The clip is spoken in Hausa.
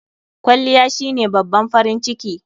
Kwalliya shine babban farin ciki..